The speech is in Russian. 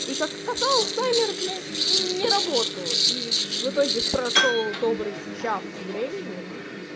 и как оказалось таймер блядь не работал и в итоге прошёл добрый час времени